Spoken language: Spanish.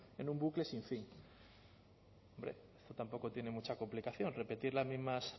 en un bucle sin fin hombre esto tampoco tiene mucha complicación repetir las mismas